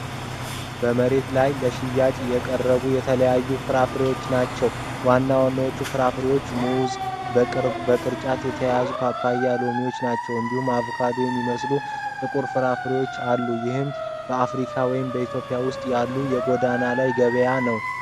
በመሬት ላይ ለሽያጭ የቀረቡ የተለያዩ ፍራፍሬዎች ናቸው። ዋና ዋናዎቹ ፍራፍሬዎች ሙዝ (በቅርጫት የተያዘ)፣ ፓፓያና ሎሚ ናቸው። እንዲሁም አቮካዶ የሚመስሉ ጥቁር ፍራፍሬዎች አሉ። ይህም በአፍሪካ ወይም በኢትዮጵያ ውስጥ ያለ የጎዳና ላይ ገበያ ነው።